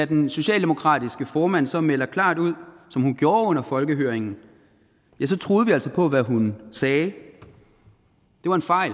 den socialdemokratiske formand så melder klart ud som hun gjorde under folkehøringen så troede vi altså på hvad hun sagde det var en fejl